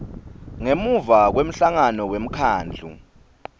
ngemuva kwemhlangano wemkhandlu